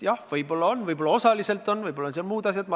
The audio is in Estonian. Jah, võib-olla on, võib-olla on osaliselt, võib-olla on seal muud asjad.